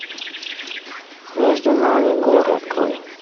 между нами горы открой